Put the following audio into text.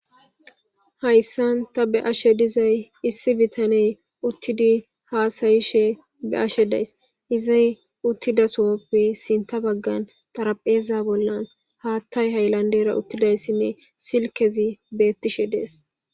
Hayssan ta be ashe dizay issi bitaney uttidi haasayishe be ashe days izay uttida soppe sinta baggan darapheeza bollan haattay hayllandera uttidayssinne silkezi beettishe dees